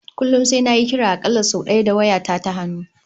Kullum sai nayi kira a kalla sai daya da waya ta ta hannu